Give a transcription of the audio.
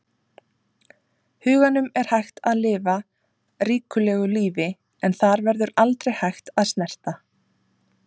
huganum er hægt að lifa ríkulegu lífi en þar verður aldrei hægt að snerta.